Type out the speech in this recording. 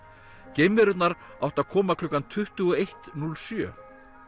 geimverurnar áttu að koma klukkan tuttugu og eitt núll sjö